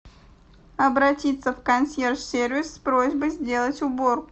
обратиться в консьерж сервис с просьбой сделать уборку